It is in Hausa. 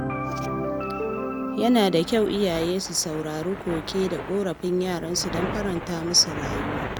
Yana da kyau iyaye su saurari koke da ƙorafin yaransu don faranta musu rayuwa.